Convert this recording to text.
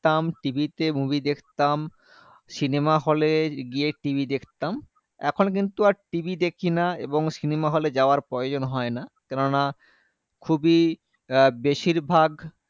তাম TV তে movie দেখতাম cinema hall এ গিয়ে TV দেখতাম এখন কিন্তু আর TV দেখিনা এবং cinema hall এ যাওয়ার প্রয়াজন হয়না কেনোনা খুবই আ বেশিরভাগ